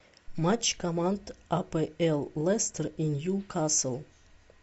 матч команд апл лестер и ньюкасл